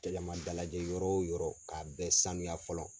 dalajɛ yɔrɔ o yɔrɔ k'a bɛɛ sanuya fɔlɔ.